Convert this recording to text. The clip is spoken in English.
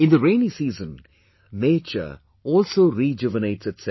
In the rainy season, nature also rejuvenates itself